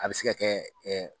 A bi se ka kɛ